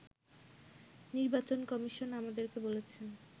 “নির্বাচন কমিশন আমাদেরকে বলেছেন